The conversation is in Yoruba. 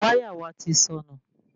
Wáyà wa ti sọnù